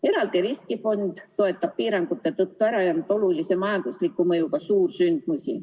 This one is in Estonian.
Eraldi riskifond toetab piirangute tõttu ära jäänud olulise majandusliku mõjuga suursündmusi.